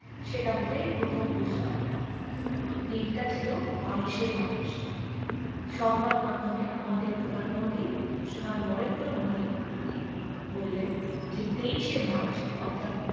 সেটা বোধহয় এই প্রথম বুঝলাম দিনটা ছিল বাইশে মার্চ সংবাদ মাধ্যমে আমাদের প্রধান মোদী শ্রীমান নরেন্দ্র মোদী বললেন যে তেইশে মার্চ অর্থাৎ